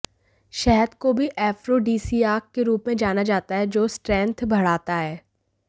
शहद को भी ऐफ्रोडीसियाक के रूप में जाना जाता है जो स्ट्रेंथ बढ़ाता है